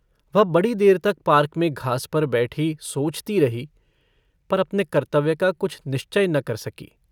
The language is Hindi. वह बड़ी देर तक पार्क में घास पर बैठी मोचतो रही पर अपने कर्तव्य का कुछ निश्चय न कर सकी।